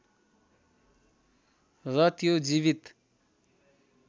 र त्यो जीवित